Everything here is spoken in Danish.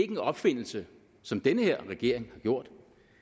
en opfindelse som den her regering har gjort